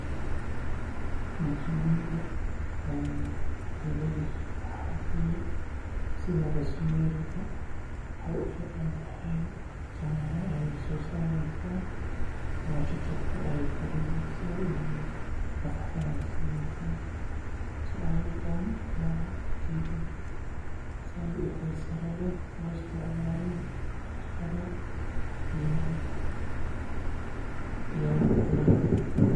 Muhimada aay leeyihiin waxa waye waxeey ufican tahay timaha ayeey soo sareysa nafaqa ayeey sineysa sait ayeey taya uleeyihiin.